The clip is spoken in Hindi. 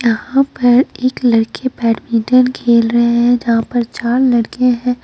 यहाँ पर एक लड़के बैडमिंटन खेल रहे हैं जहाँ पर चार लड़के हैं।